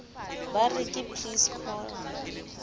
ba re ke please call